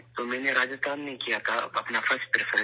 تو میں نے راجستھان میں کیا تھا ، اپنا فرسٹ پریفرینس